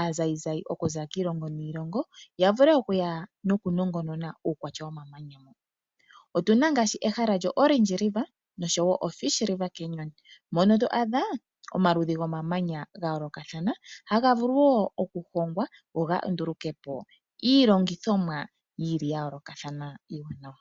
aazayizayi okuza kiilongo niilongo ya vule okuya nokunongonona uukwatya womamanya huka. Otu na ngaashi ehala lyomulonga gwaOrange nosho wo oFish river canyon mono to adha omaludhi gomamanya ga yoolokathana haga vulu wo okuhongwa go ga nduluke po iilongithomwa ya yoolokathana iiwanawa.